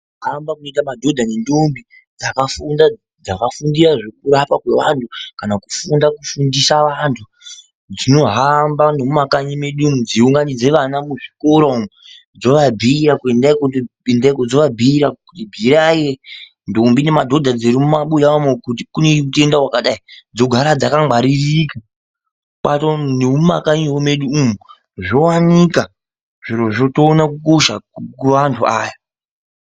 Kuhamba kurikuita madhodha nendombi dzakafundira ngezvekurapa vanthu kana kufunda kundisa vanthu dzohamba nemumakanyi meduumu dzeunganidza vana muzvikora umu dzoabuirai kuti bhuirai ndombi nemadhodha dzirimumabuya umu kuti kune utenda wakadai, dzogara dzakangwaririika, nemumakanyi medu zvowanika zvirozvo, toona kukosha kwevantu aya .